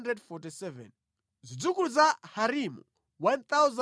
Zidzukulu za Harimu 1,017.